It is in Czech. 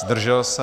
Zdržel se?